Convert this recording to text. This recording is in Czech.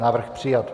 Návrh přijat.